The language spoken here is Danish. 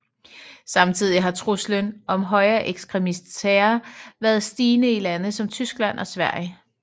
Samtidig har truslen om højreekstremistisk terror været stigende i lande som Tyskland og Sverige